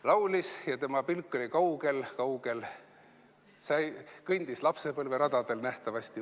Laulis ja tema pilk oli kaugel-kaugel, kõndis lapsepõlveradadel nähtavasti.